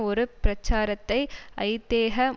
ஒரு பிரச்சாரத்தை ஐதேக